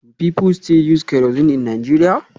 Do people still use kerosene in Nigeria?